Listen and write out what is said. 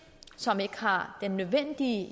som ikke har den nødvendige